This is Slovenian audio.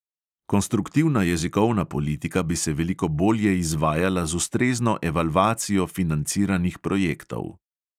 Konstruktivna jezikovna politika bi se veliko bolje izvajala z ustrezno evalvacijo financiranih projektov.